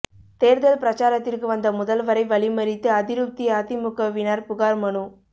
தேர்தல் பிரசாரத்திற்கு வந்த முதல்வரை வழிமறித்து அதிருப்தி அதிமுகவினர் புகார் மனு